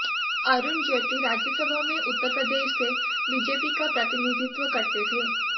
अरुण जेटली राज्यसभा में उत्तर प्रदेश से बीजेपी का प्रतिनिधित्व करते थे